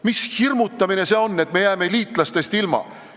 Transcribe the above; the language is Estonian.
Mis hirmutamine see on, et me jääme liitlastest ilma?